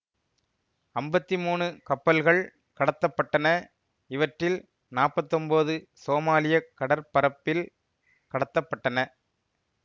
அம்பத்தி மூனு கப்பல்கள் கடத்தப்பட்டன இவற்றில் நாப்பத்தொன்போது சோமாலிய கடற்பரப்பில் கடத்தப்பட்டன